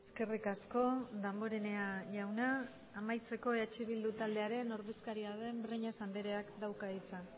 eskerrik asko damborenea jauna amaitzeko eh bildu taldearen ordezkaria den breñas andreak dauka hitza